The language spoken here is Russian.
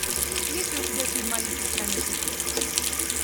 есть ли у тебя фильм алиса в стране чудес